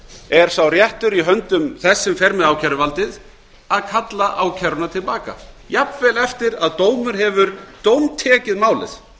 er sá réttur í höndum þess sem fer með ákæruvaldið að kalla ákæruna til baka jafnvel eftir að dómur hefur dómtekið málið